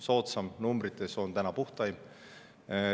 Soodsaim on numbrite järgi puhtaim.